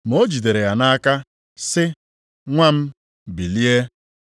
Ma o jidere ya nʼaka, sị, “Nwa m, bilie!”